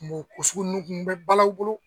An b'o ko sugu nunnu kun bɛ balaw u bolo